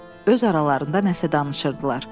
Öz aralarında nəsə danışırdılar.